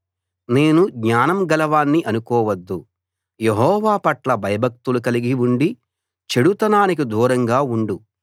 నేను జ్ఞానం గలవాణ్ణి అనుకోవద్దు యెహోవా పట్ల భయభక్తులు కలిగి ఉండి చెడుతనానికి దూరంగా ఉండు